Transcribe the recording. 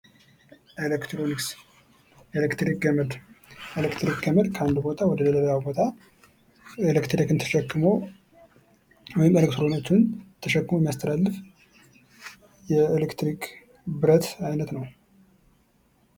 ኤሌክትሮኒክስ፥ ኤሌክትሪክ ገመድ ኤሌክትሪክ ከአንድ ቦታ ወደሌላ ቦታ ኤሌክትሪክ ተሸክሞ ወይም ኤሌክትሮን ተሸክሞ የሚያስተላልፍልን የኤሌክትሪክ ብረት አይነት ነው።